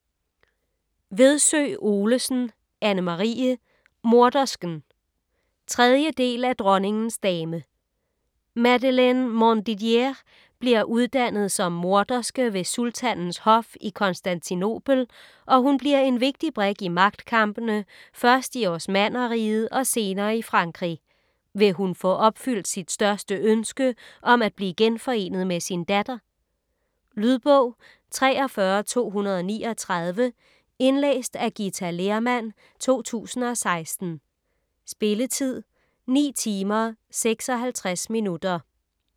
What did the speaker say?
Vedsø Olesen, Anne-Marie: Mordersken 3. del af Dronningens dame. Madeleine Montdidier bliver uddannet som morderske ved sultanens hof i Konstantinopel, og hun bliver en vigtig brik i magtkampene først i Osmannerriget og senere i Frankrig. Vil hun få opfyldt sit største ønske om at blive genforenet med sin datter? Lydbog 43239 Indlæst af Githa Lehrmann, 2016. Spilletid: 9 timer, 56 minutter.